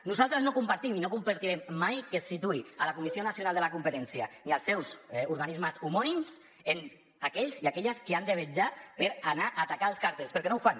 nosaltres no compartim i no compartirem mai que es situï la comissió nacional de la competència ni els seus organismes homònims en aquells i aquelles que han de vetllar per anar a atacar els càrtels perquè no ho fan